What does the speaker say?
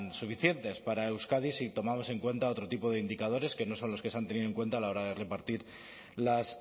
suficientes para euskadi si tomamos en cuenta otro tipo de indicadores que no son los que se han tenido en cuenta a la hora de repartir las